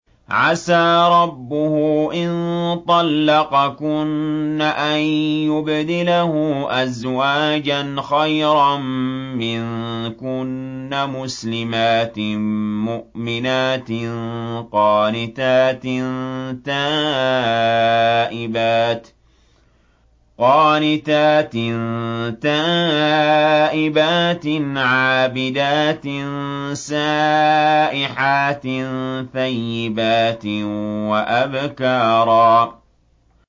عَسَىٰ رَبُّهُ إِن طَلَّقَكُنَّ أَن يُبْدِلَهُ أَزْوَاجًا خَيْرًا مِّنكُنَّ مُسْلِمَاتٍ مُّؤْمِنَاتٍ قَانِتَاتٍ تَائِبَاتٍ عَابِدَاتٍ سَائِحَاتٍ ثَيِّبَاتٍ وَأَبْكَارًا